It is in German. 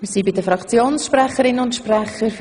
Wir kommen zu den Fraktionssprechenden.